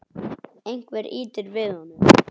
Einhver ýtir við honum.